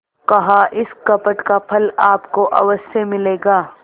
कहाइस कपट का फल आपको अवश्य मिलेगा